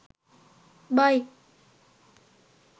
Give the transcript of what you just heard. buy